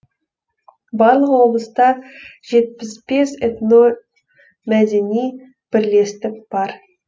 барлығы облыста жетпіс бес этномәдени бірлестік бар